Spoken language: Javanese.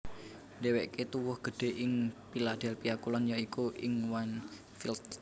Dhéwéké tuwuh gedhé ing Philadelphia Kulon ya iku ing Wynnefield